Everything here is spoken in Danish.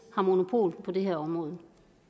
har monopol på det her område